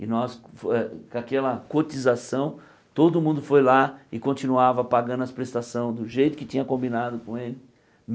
E nós, fo uh com aquela cotização, todo mundo foi lá e continuava pagando as prestações do jeito que tinha combinado com ele.